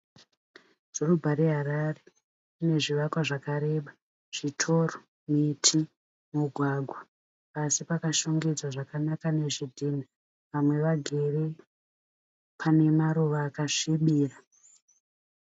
Dhorobha reHarare, rine zvivakwa zvakareba. Zvitoro, miti, migwagwa. Pasi pakashongedzwa zvakanaka nezvidhinha. Vamwe vagere pane maruva akasvibira.